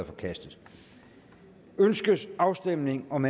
forkastet ønskes afstemning om